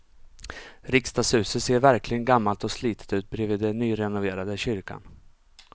Riksdagshuset ser verkligen gammalt och slitet ut bredvid den nyrenoverade kyrkan.